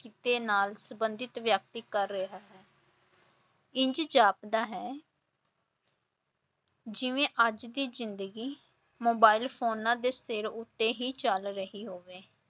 ਕਿੱਤੇ ਨਾਲ ਸੰਬੰਧਿਤ ਵਿਅਕਤੀ ਕਰ ਰਿਹਾ ਹੈ ਇੰਝ ਜਾਪਦਾ ਹੈ ਜਿਵੇਂ ਅੱਜ ਦੀ ਜ਼ਿੰਦਗੀ ਮੋਬਾਇਲ ਫ਼ੋਨਾਂ ਦੇ ਸਿਰ ਉੱਤੇ ਹੀ ਚਲ ਰਹੀ ਹੋਵੇ।